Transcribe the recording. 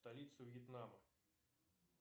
столица вьетнама